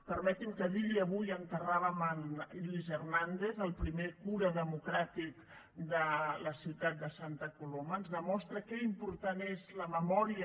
permeti’m que digui que avui enterràvem en lluís hernández el primer alcalde democràtic de la ciutat de santa coloma ens demostra com d’important és la memòria